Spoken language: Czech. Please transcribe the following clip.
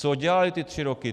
Co dělali ty tři roky?